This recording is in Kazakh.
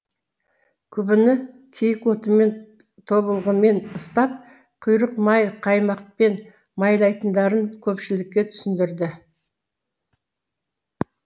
күбіні киік отымен тобылғымен ыстап құйрықмай қаймақпен майлайтындарын көпшілікке түсіндірді